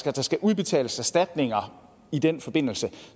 at der skal udbetales erstatninger i den forbindelse